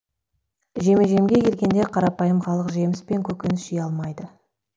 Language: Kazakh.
жеме жемге келгенде қарапайым халық жеміс пен көкөніс жей алмайды